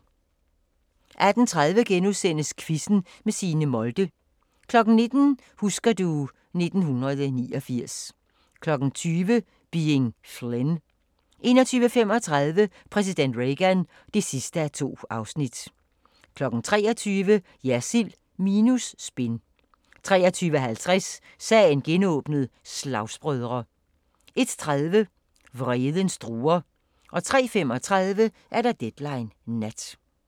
18:30: Quizzen med Signe Molde * 19:00: Husker du ... 1989 20:00: Being Flynn 21:35: Præsident Reagan (2:2) 23:00: Jersild minus spin 23:50: Sagen genåbnet: Slagsbrødre 01:30: Vredens druer 03:35: Deadline Nat